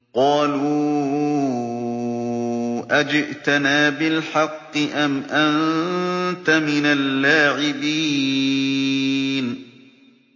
قَالُوا أَجِئْتَنَا بِالْحَقِّ أَمْ أَنتَ مِنَ اللَّاعِبِينَ